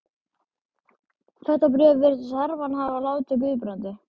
Þetta bréf virðist Hermann hafa látið Guðbrandi